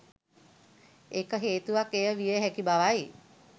එක හේතුවක් එය විය හැකි බවයි